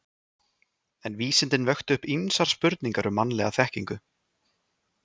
En vísindin vöktu upp ýmsar spurningar um mannlega þekkingu.